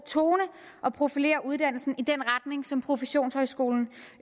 tone og profilere uddannelsen i den retning som professionshøjskolerne